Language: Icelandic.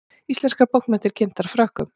Íslenskar bókmenntir kynntar Frökkum